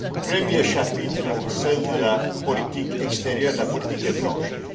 Premier chapitre celui de la politique extérieure, de la politique étrangère.